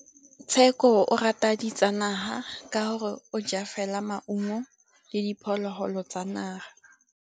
Tshekô o rata ditsanaga ka gore o ja fela maungo le diphologolo tsa naga.